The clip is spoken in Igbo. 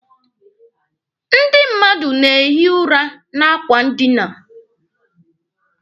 Ndị mmadụ na-ehi ụra na akwa ndina.